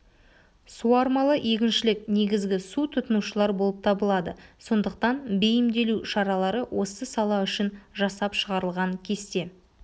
суармалы егіншілік негізгі су тұтынушылар болып табылады сондықтан бейімделу шаралары осы сала үшін жасап шығарылған кесте